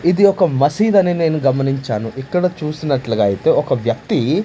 ఇది ఒక మసీద్ అని నేను గమనించాను ఇక్కడ చూసినట్లుగా అయితే ఒక వ్యక్తి.